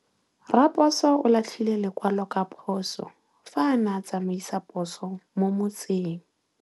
Raposo o latlhie lekwalô ka phosô fa a ne a tsamaisa poso mo motseng.